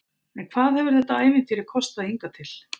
En hvað hefur þetta ævintýri kostað hingað til?